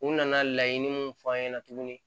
U nana laɲini mun f'an ɲɛna tuguni